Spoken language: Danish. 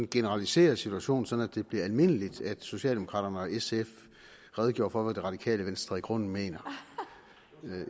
generalisere situationen så det bliver almindeligt at socialdemokraterne og sf redegør for hvad det radikale venstre i grunden mener